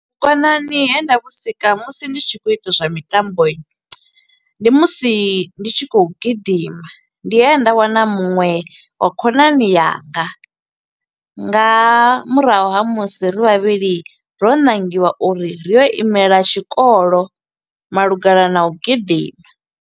Vhukonani he nda vhu sika musi ndi tshi kho u ita zwa mitambo, ndi musi ndi tshi kho u gidima ndi he nda wana muṅwe wa khonani yanga, nga murahu ha musi ri vhavhili ro ṋangiwa uri ri yo imela tshikolo malugana na u gidima.